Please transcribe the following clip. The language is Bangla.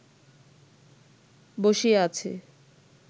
বসিয়া আছে